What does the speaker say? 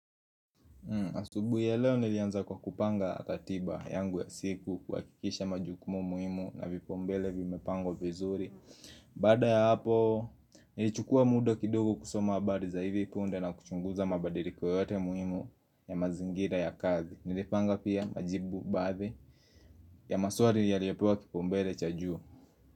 Asubuhi ya leo nilianza kwa kupanga ratiba yangu ya siku, kuhakikisha majukumu muhimu na vipaumbele vimepangwa vizuri Baada ya hapo nilichukua muda kidogo kusoma habari za hivi punde na kuchunguza mabadiriko yote muhimu ya mazingira ya kazi. Nilipanga pia majibu baadhi ya maswali yaliyopewa kipaumbele cha juu.